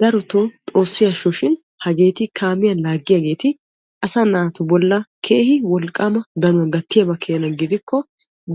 Darotoo xoosi assoshun hageeti kaamiyaa laaggiyaageeti asaa naatu bollan keehi wolqqaama danauwaa gattiyaaba gidikko